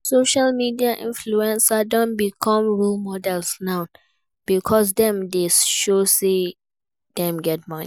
Social media influencers don become role models now because dem de show say dem get money